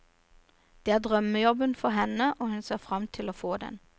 Dette er drømmejobben for henne, og hun ser frem til å få den.